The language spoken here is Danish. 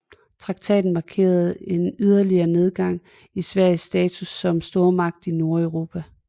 Traktaten markerede en yderligere nedgang i Sveriges status som stormagt i Nordeuropa